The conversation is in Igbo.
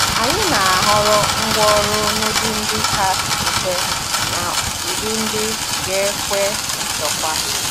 Anyị na a họrọ ngwa ọrụ n'ụdị ndị ka mfe na ụdị ndị ga-ekwe nchekwa.